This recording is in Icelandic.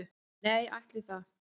"""Nei, ætli það."""